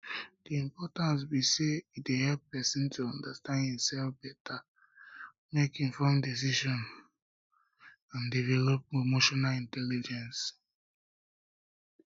di importance be say e dey help pesin to understand imself beta um make informed decisions um and develop emotional intelligence